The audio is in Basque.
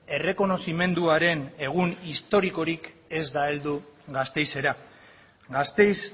errekonozimenduaren egun historikorik ez da heldu gasteizera gasteiz